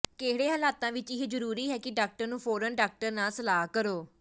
ਕਿਹੜੇ ਹਾਲਾਤਾਂ ਵਿੱਚ ਇਹ ਜ਼ਰੂਰੀ ਹੈ ਕਿ ਡਾਕਟਰ ਨੂੰ ਫੌਰਨ ਡਾਕਟਰ ਨਾਲ ਸਲਾਹ ਕਰੋ